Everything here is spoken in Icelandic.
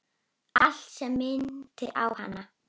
Allt sem minnti á hana.